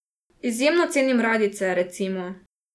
Izjemno cenim radijce, recimo.